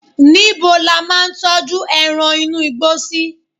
níbo la ma n tọju eran inú igbó sí